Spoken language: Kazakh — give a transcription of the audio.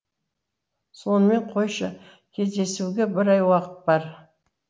сонымен қойшы кездесуге бір ай уақыт бар